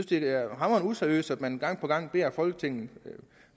det er hamrende useriøst at man gang på gang beder folketinget